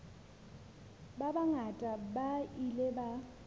ba bangata ba ile ba